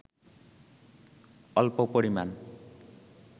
অল্প পরিমাণ